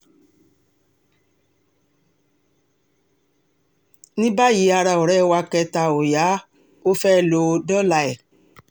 ní báyìí ara ọ̀rẹ́ wa kẹta ó yá ọ fẹ́ẹ́ lọ dọ́là ẹ̀